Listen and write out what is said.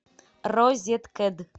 розеткед